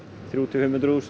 þrjú til fimmhundruð þúsund